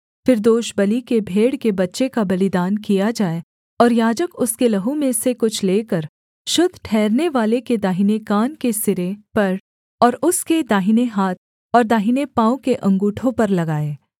फिर दोषबलि के भेड़ के बच्चे का बलिदान किया जाए और याजक उसके लहू में से कुछ लेकर शुद्ध ठहरनेवाले के दाहिने कान के सिरे पर और उसके दाहिने हाथ और दाहिने पाँव के अँगूठों पर लगाए